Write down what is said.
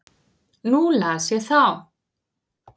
Nú las ég þá.